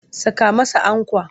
Saka masa ankwa!